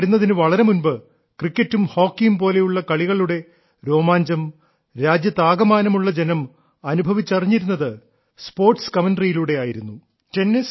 television വരുന്നതിന് വളരെ മുൻപ് ക്രിക്കറ്റും ഹോക്കിയും പോലുള്ള കളികളുടെ രോമാഞ്ചം രാജ്യത്താകമാനമുള്ള ജനം അനുഭവിച്ചറിഞ്ഞിരുന്നത് കായിക ദൃക്സാക്ഷി വിവരണ മാധ്യമത്തിലൂടെ ആയിരുന്നു